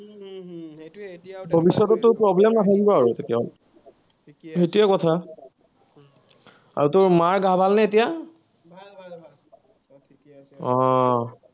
ভৱিষ্যতে তোৰ problem নাথাকিব আৰু কেতিয়াও, সেইটোৱে কথা। আৰু তোৰ মাৰ গা ভালনে এতিয়া? উম